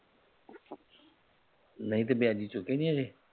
ਨਹੀਂ ਤੇ ਵਿਆਜ਼ੀ ਸੁੱਟੀ ਨਹੀਂ ਹਾਲੇ